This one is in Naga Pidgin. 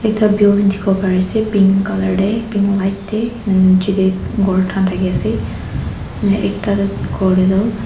building dikhiwo parease pink colour tae pink light tae nichae tae thaki ase ektatu.